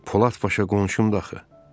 Polad Paşa qonşumdu axı.